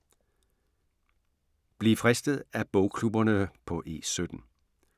Bliv fristet af bogklubberne på E17